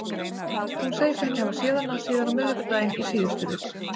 Hún segist ekki hafa séð hana síðan á miðvikudaginn í síðustu viku.